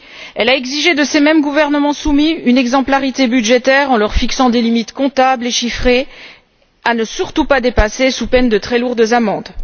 Elle a exigé de ces mêmes gouvernements soumis une exemplarité budgétaire en leur fixant des limites comptables et chiffrées à ne surtout pas dépasser sous peine de très lourdes amendes.